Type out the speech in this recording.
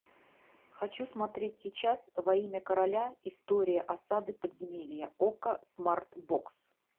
хочу смотреть сейчас во имя короля история осады подземелья окко смарт бокс